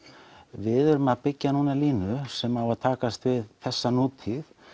við erum núna að byggja línu sem á að takast við þessa nútíð